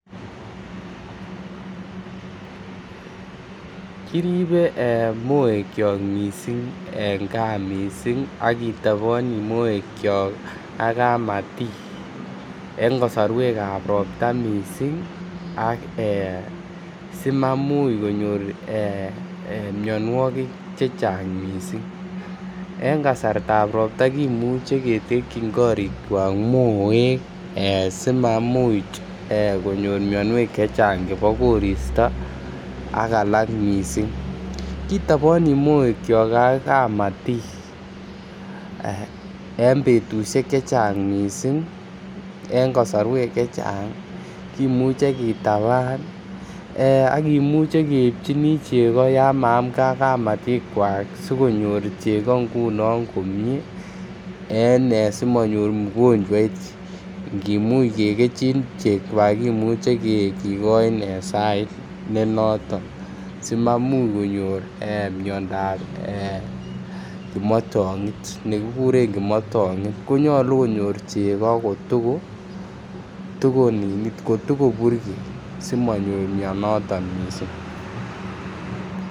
Kiribe moekyok missing en gaa missing ak kitoboni moekyok ak kamatik en kosorwekab ropta missing ak ee simamuch konyor ee mionwokik chechang missing. En kasartab ropta kimuche ketekyin korikwak moek simamuch konyor mionwek chechang chebo koristo ak alak missing. Kitoboni moekyok ak kamatik en betushek chechang missing en kosorwek chechang kimuche kitaban ak kimuche keibjini chego yan maamge ak kamatikwak sikonyor chego ngunon komie en simonyor ugonjwoit ngimuch kegejin chegwak kimuche kigoin ee en sait ne noton si mamuch konyor miondap kimotongit. Konyoluu konyor chego ko toko burgei simanyor mionoton missing